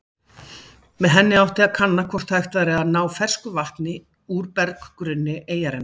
Með henni átti að kanna hvort hægt væri að ná fersku vatni úr berggrunni eyjarinnar.